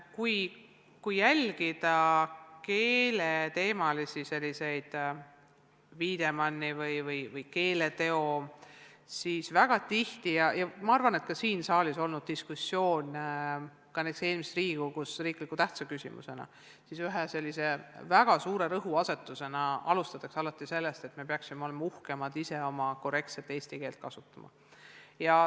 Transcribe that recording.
Kui jälgida keeleteemalisi arutlusi näiteks Wiedemanni auhinna väljaandmise või keeleteo tunnustamise üle, siis väga tihti – näiteks ka siin saalis on olnud eelmise Riigikogu ajal diskussioon riikliku tähtsa küsimusena – ühe väga suure rõhuasetusena alustatakse sellest, et me peaksime ise olema uhkemad oma korrektset eesti keelt kasutades.